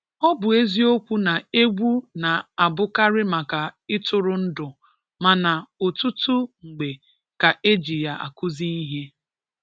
Ọ bụ eziokwu na egwu na-abụkarị maka ịtụrụ ndụ mana, otutu mgbe ka eji ya akụzi ihe.